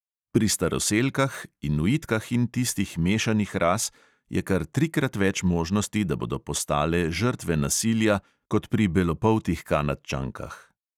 Pri staroselkah, inuitkah in tistih mešanih ras je kar trikrat več možnosti, da bodo postale žrtve nasilja, kot pri belopoltih kanadčankah.